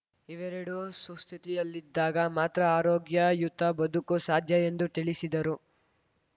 ಇವೆರಡೂ ಸುಸ್ಥಿತಿಯಲ್ಲಿದ್ದಾಗ ಮಾತ್ರ ಆರೋಗ್ಯಯುತ ಬದುಕು ಸಾಧ್ಯ ಎಂದು ತಿಳಿಸಿದರು